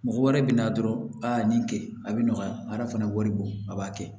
Mɔgɔ wɛrɛ bɛ na dɔrɔn a nin kɛ a bɛ nɔgɔya hadamaden a b'a kɛ